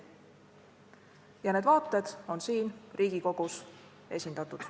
Ja need vaated on siin Riigikogus esindatud.